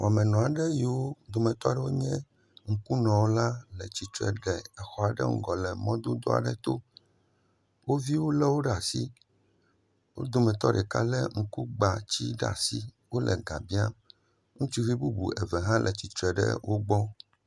Wɔmenɔ aɖe yiwo be dometɔ aɖewo nye ŋkunɔ la le tsitre le exɔ aɖe ŋgɔ le mɔdodo aɖe to. Wo viwo le wo ɖe asi. Wo dometɔ ɖeka le ŋkugbatsi le asi wo le ga biam. Ŋutsuvi bubu eve hã le tsitre ɖe wo gbɔ